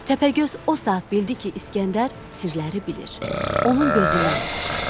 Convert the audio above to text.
Təpəgöz o saat bildi ki, İsgəndər sirləri bilir, onun gözündən vuracaq.